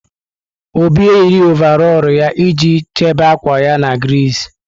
Obi eyiri ọvarọọr ya iji chebe akwa ya na griiz.